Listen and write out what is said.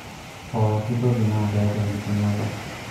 pooki toki naa keeta enkiting'oto